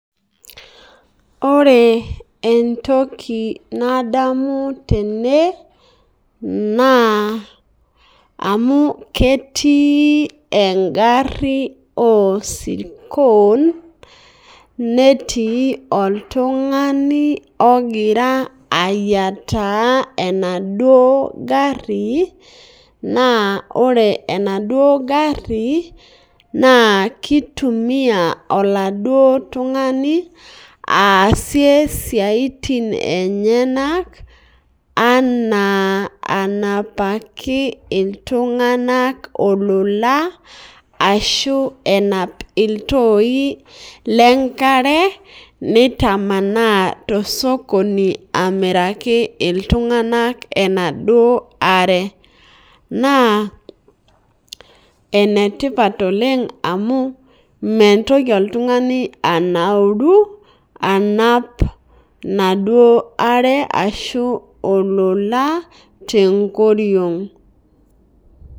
Ore entoki nadamu tene na amu ketii engaru osirkon netii oltungani ogiea ayiataa enaduo gari na ore enaduo gari na kitumiai oladuo tungani aasie siatin enyenak ana anapaki ltunganak ilolan ashu enap iltoi lenkare nitamanaa tosokoni amiraki ltunganak enaduo are na enetipat oleng amu mitoki oltungani anauru anap enaduo aare ashu olola tenkoriong.